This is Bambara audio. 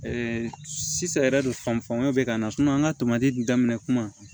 sisan yɛrɛ de fan fanga bɛ ka na an ka tomati dun daminɛ kuma